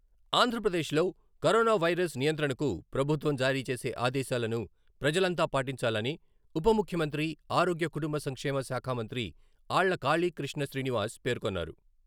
ఆంధ్రప్రదేశ్లో corona virus నియంత్రణకు ప్రభుత్వం జారీచేసే ఆదేశాలను ప్రజలంతా పాటించాలని ఉపముఖ్యమంత్రి, ఆరోగ్య, కుటుంబ సంక్షేమ శాఖ మంత్రి ఆళ్ల కాళీ కృష్ణ శ్రీనివాస్ పేర్కొన్నారు.